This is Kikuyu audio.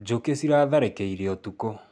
Njũkĩ ciratharĩkĩire ũtukũ